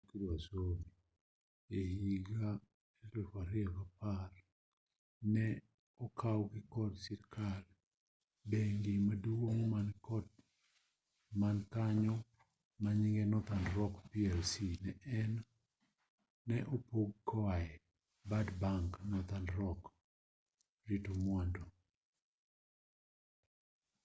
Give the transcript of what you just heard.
ehiga 2010 ka ne okawgi kod sirikal bengi maduong man kanyo manyinge northern rock plc ne opog koae ‘bad bank’ northern rock rito mwandu